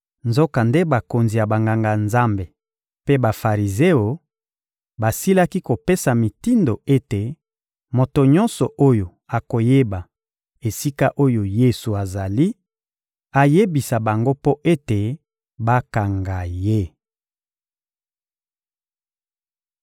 Nzokande bakonzi ya Banganga-Nzambe mpe Bafarizeo basilaki kopesa mitindo ete moto nyonso oyo akoyeba esika oyo Yesu azali, ayebisa bango mpo ete bakanga ye.